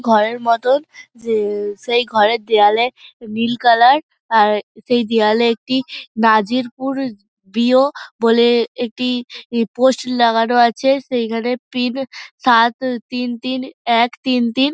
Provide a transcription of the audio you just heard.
ঘরের মতো যে-এ সে ঘরের দেওয়ালে নীল কালার আর সেই দেওয়ালে একটি নাজির পুর বি.ও বলে একটি পোস্ট লাগানো আছে সেখানে পিন সাত উ তিন তিন এক তিন তিন |